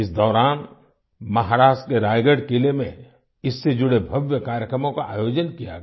इस दौरान महाराष्ट्र के रायगढ़ किले में इससे जुड़े भव्य कार्यक्रमों का आयोजन किया गया